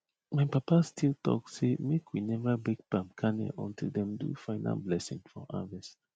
my papa still talk sey make we never break palm kernel until dem do final blessing for harvest